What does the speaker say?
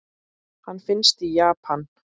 Hann finnst í Japan.